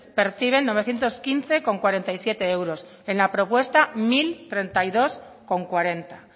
perciben novecientos quince coma cuarenta y siete euros en la propuesta mil treinta y dos coma cuarenta